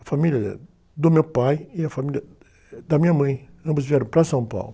A família do meu pai e a família da minha mãe, ambos vieram para São Paulo.